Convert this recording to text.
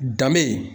Danbe